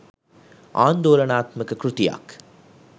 ආන්දෝලනාත්මක කෘතියක්